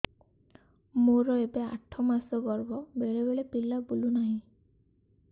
ମୋର ଏବେ ଆଠ ମାସ ଗର୍ଭ ବେଳେ ବେଳେ ପିଲା ବୁଲୁ ନାହିଁ